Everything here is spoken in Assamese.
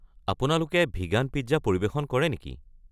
আপোনালোকে ভিগান পিজ্জা পৰিৱেশন কৰে নেকি।